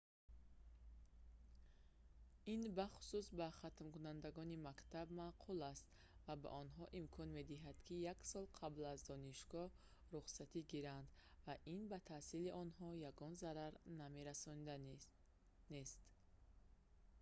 ин бахусус ба хатмкунандагони мактаб маъқул аст ва ба онҳо имкон медиҳад ки як сол қабл аз донишгоҳ рухсатӣ гиранд ва ин ба таҳсили онҳо ягон зарар намерасонад нест